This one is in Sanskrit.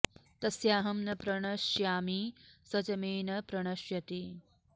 तस्याहं न प्रणश्यामि स च मे न प्रणश्यति